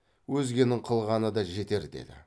өзгенің қылғаны да жетер деді